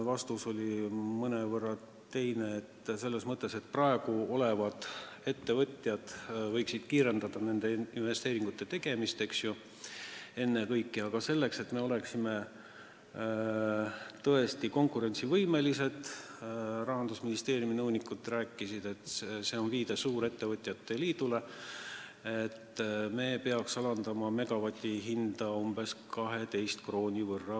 Vastus oli mõnevõrra teine selles mõttes, et praegu olemasolevad ettevõtjad võiksid ennekõike kiirendada investeeringute tegemist, aga selleks, et me oleksime tõesti konkurentsivõimelised – Rahandusministeeriumi nõunikud rääkisid, et see on viide suurettevõtjate liidule –, me peaksime alandama megavati hinda veel umbes 12 euro võrra.